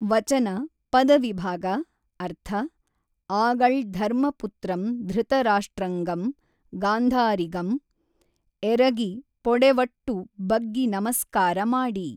ವಚನ ಪದವಿಭಾಗ ಅರ್ಥ ಆಗಳ್ ಧರ್ಮಪುತ್ರಂ ಧೃತರಾಷ್ಟ್ರಂಗಂ ಗಾಂಧಾರಿಗಂ ಎರಗಿ ಪೊಡೆವಟ್ಟು ಬಗ್ಗಿ ನಮಸ್ಕಾರಮಾಡಿ